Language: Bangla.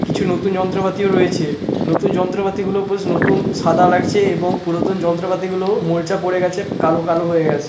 কিছু নতুন যন্ত্রপাতিও রয়েছে নতুন যন্ত্রপাতি গুলো পোস্ নতুন সাদা লাগছে এবং পুরাতন যন্ত্রপাতি গুলো মরিচা পড়ে গেছে কালো কালো হয়ে গেছে।